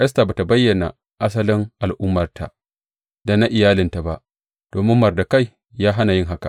Esta ba tă bayyana asalin al’ummarta da na iyalinta ba, domin Mordekai ya hana yin haka.